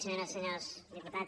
senyores i senyors diputats